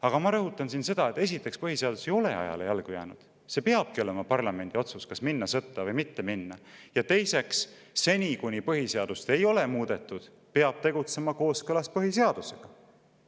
Aga ma rõhutan, et esiteks põhiseadus ei ole ajale jalgu jäänud – see peabki olema parlamendi otsus, kas minna sõtta või mitte minna –, ja teiseks, seni kuni põhiseadust ei ole muudetud, peab tegutsema kooskõlas põhiseadusega.